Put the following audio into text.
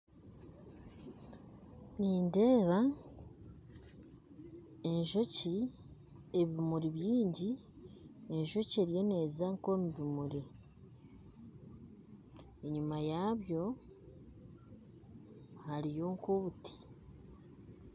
Nindeeba enjoki ebimuri byingi enjoki eriyo neeza nkomu bimuri enyuma yaabo hariyo nk'obuti